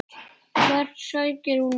Hvert sækir hún það?